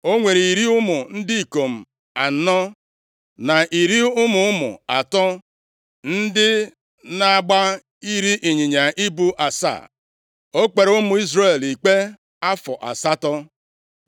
O nwere iri ụmụ ndị ikom anọ na iri ụmụ ụmụ atọ ndị na-agba iri ịnyịnya ibu asaa. O kpere ụmụ Izrel ikpe afọ asatọ.